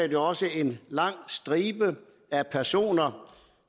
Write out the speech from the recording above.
jo også en lang stribe af personer